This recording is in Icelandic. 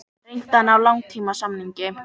Reynt að ná langtímasamningi